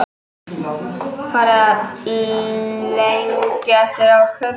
Farið að lengja eftir ákærum